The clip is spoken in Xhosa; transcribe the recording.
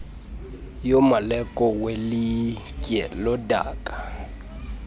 yomaleko welitye lodaka